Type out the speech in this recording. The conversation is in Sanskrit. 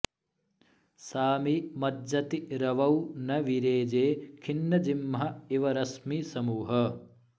सामि मज्जति रवौ न विरेजे खिन्नजिह्म इव रश्मिसमूहः